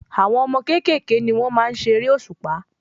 Àwọn ọmọ kékèké ni wọ́n maá n ṣe eré òṣùpá